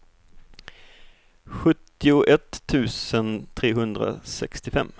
sjuttioett tusen trehundrasextiofem